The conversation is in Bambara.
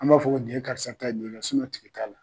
An b'a fɔ ko nin ye karisa ta tigi t'a la!